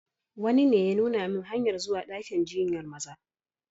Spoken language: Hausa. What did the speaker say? Wani ne ya nuna min hanyar zuwa dakin jinyar Maza.